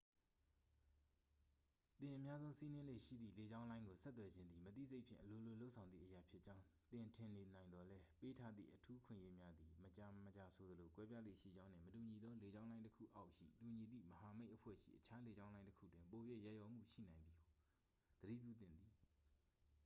သင်အများဆုံးစီးနင်းလေ့ရှိသည့် လေကြောင်းလိုင်းကို ဆက်သွယ်ခြင်းသည် မသိစိတ်ဖြင့် အလိုလိုလုပ်ဆောင်သည့်အရာဖြစ်ကြောင်း သင်ထင်နေနိုင်သော်လည်း ပေးထားသည့် အထူးအခွင့်အရေးများသည် မကြာမကြာဆိုသလို ကွဲပြားလေ့ရှိကြောင်းနှင့် မတူညီသောလေကြောင်းလိုင်းတစ်ခုအောက်ရှိ တူညီသည့်မဟာမိတ်အဖွဲ့ရှိအခြားလေကြောင်းလိုင်းတစ်ခုတွင် ပို၍ ရက်ရောမှုရှိနိုင်သည်ကိုသတိပြုသင့်သည်